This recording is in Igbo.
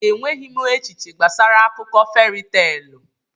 Enweghị m echiche gbasara akụkọ feri teelụ.